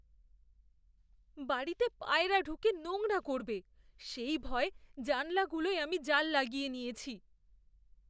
বাড়িতে পায়রা ঢুকে নোংরা করবে, সেই ভয়ে জানলাগুলোয় আমি জাল লগিয়ে নিয়েছি।